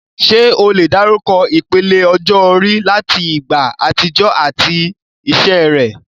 Ṣé o lè dárúkọ ìpele ọjọ́ orí láti ìgbà àtijọ́ àti iṣẹ́ rẹ̀?